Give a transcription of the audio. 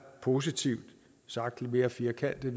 positivt sagt lidt mere firkantet